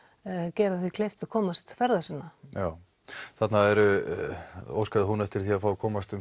gera þeim kleift að komast ferða sinna já þarna óskaði hún eftir því að fá að komast um